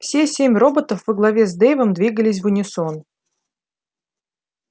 все семь роботов во главе с дейвом двигались в унисон